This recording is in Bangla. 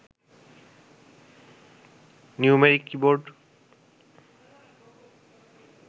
numeric keyboard